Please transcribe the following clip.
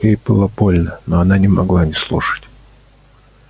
ей было больно но она не могла не слушать